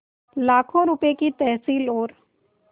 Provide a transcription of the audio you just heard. लाखों रुपये की तहसील और